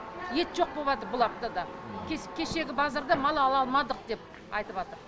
ет жоқ болыватыр бұларда да кешегі базарда мал ала алмадық деп айтыватыр